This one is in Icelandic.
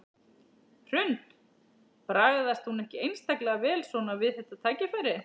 Hrund: Bragðast hún ekki einstaklega vel svona við þetta tækifæri?